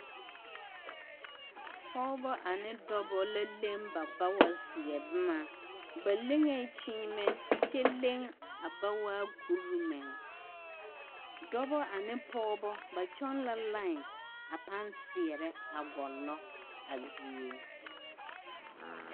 Pɔɡebɔ ane dɔbɔ la leŋ ba bawaseɛ boma ba leŋee kyeemɛ kyɛ leŋ a bawaa kuri meŋ dɔbɔ ane pɔɔbɔ ba kyɔɡe la lai a pãã seɛrɛ ɡɔlɔ a die.